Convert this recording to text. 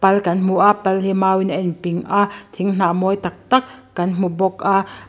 pal kan hmu a pal hi mau in a in ping a thinghna mawi tak tak kan hmu bawk a.